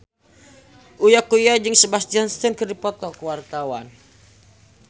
Uya Kuya jeung Sebastian Stan keur dipoto ku wartawan